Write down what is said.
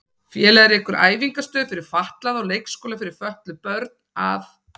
Félagið rekur æfingastöð fyrir fatlaða og leikskóla fyrir fötluð börn að